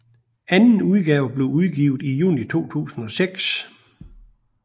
Anden udgave blev udgivet i juni 2006